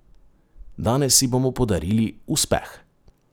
Danes si bomo podarili uspeh!